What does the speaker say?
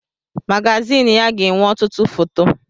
Magazịn ya ga-enwe ọtụtụ foto.